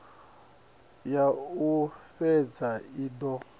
ya u fhedza i do